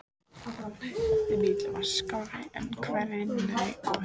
Næsti bíll var skárri en hvergi nærri góður.